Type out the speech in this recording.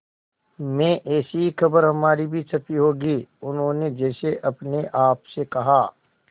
में ऐसी ही खबर हमारी भी छपी होगी उन्होंने जैसे अपने आप से कहा